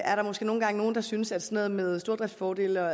er der måske nogle gange nogle der synes at noget med stordriftsfordele og